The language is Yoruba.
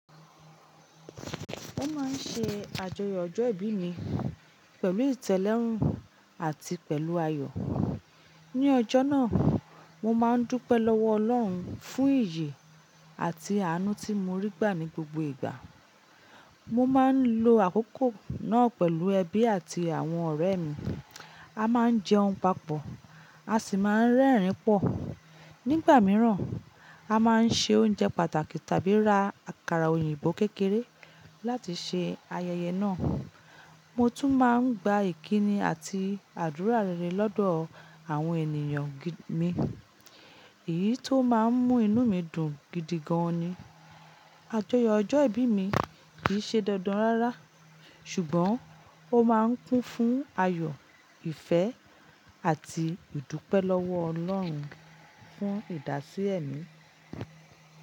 Mo máa ń ṣe àjọyọ̀ ọjọ́ ìbí mi pẹ̀lú ìtẹ́lórún àti pẹ̀lú ayọ̀. Ní ọjọ́ náà, mo máa ń dúpẹ́ lọ́wọ́ Ọlọ́run fún ìyè àti àánú tí mo rí gbà ní gbogbo ìgbà. Mo máa ń lo àkókò náà pẹ̀lú ẹbí àti àwọn ọ̀rẹ́ mi. A máa ń jẹun papọ̀, a sì máa ń rẹ́rìn-ín pọ̀. Nígbà mìíràn, a máa ń ṣe oúnjẹ pàtàkì tàbí ra àkàrà òyìnbó kékeré láti ṣe ayẹyẹ náà. Mo tún máa ń gba ìkíni àti àdúrà rere lọ́dọ̀ àwọn ènìyàn mi. Èyí tó máa ń mú inú mi dùn gidi gan-an ni. Àjọyọ̀ ọjọ́ ìbí mi kìí ṣe dandan rárá, ṣùgbọ́n ó máa ń kún fún ayọ̀, ìfẹ́ àti ìdúpẹ́ lọ́wọ́ Ọlọ́run fún ìdásílẹ̀ mi.